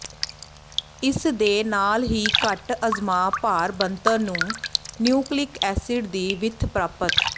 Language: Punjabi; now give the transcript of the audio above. ਇਸ ਦੇ ਨਾਲ ਹੀ ਘੱਟ ਅਜਮਾ ਭਾਰ ਬਣਤਰ ਨੂੰ ਨਿਊਕਲਿਕ ਐਸਿਡ ਦੀ ਵਿੱਥ ਪ੍ਰਾਪਤ